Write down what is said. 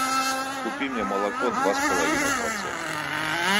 купи мне молоко два с половиной процента